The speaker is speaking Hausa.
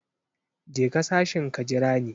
Je ka sashin ka jira ni.